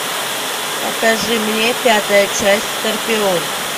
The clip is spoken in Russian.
покажи мне пятая часть скорпион